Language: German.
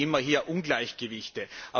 Sonst haben wir hier immer Ungleichgewichte.